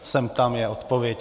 Sem tam, je odpověď.